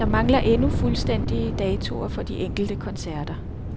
Der mangler endnu fuldstændige datoer for de enkelte koncerter.